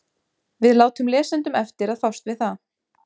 Við látum lesendum eftir að fást við það.